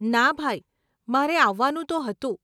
ના ભાઈ, મારે આવવાનું તો હતું.